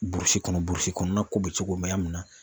Burusi kɔnɔ, burusi kɔnɔna ko bɛ cogo mɛ yan mun na.